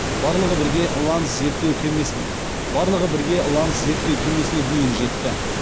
барлығы бірге ланс зерттеу кемесіне дейін жетті